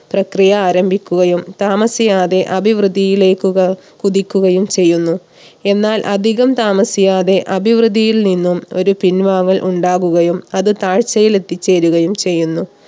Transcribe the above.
പ്രക്രിയ ആരംഭിക്കുകയും താമസിയാതെ അഭിവൃദ്ധിയിലേക്ക് ക കുതിക്കുകയും ചെയ്യുന്നു. എന്നാൽ അധികം താമസിയാതെ അഭിവൃദ്ധിയിൽ നിന്നും ഒരു പിൻവാങ്ങൽ ഉണ്ടാവുകയും അത് താഴ്ചയിൽ എത്തിച്ചേരുകയും ചെയ്യുന്നു